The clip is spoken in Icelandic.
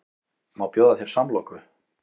Má bjóða þér samloku?